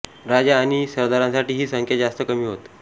राजा आणि सरदारांसाठी ही संख्या जास्त कमी होत